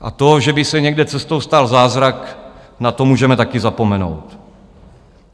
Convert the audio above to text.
A to, že by se někde cestou stal zázrak, na to můžeme taky zapomenout.